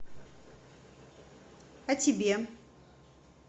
а тебе